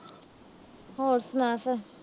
ਹੋਣ ਸੁਣਾ ਫਿਰ।